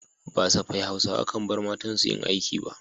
Ba safai Hausawa kan bar matansu yin aiki ba.